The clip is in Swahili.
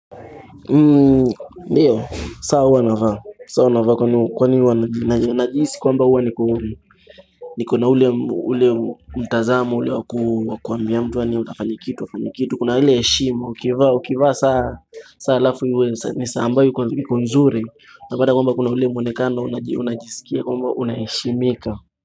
Ndiyo, saa huwa navaa. Kwa ni huwa najihisi kwamba huwa niko na hlule mtazamo, ule wa kuambia mtu wani utafani kitu, wafani kitu, kuna ile heshima, ukivaa, ukivaa saa alafu huwe, ni saa ambayo iko nzuri, unapata kwamba kuna ule mwonekano, unajisikia, kwamba unaheshimika.